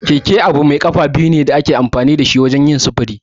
Keke abu mai kafa biyu ne da ake amfani da shi wajen sufuri.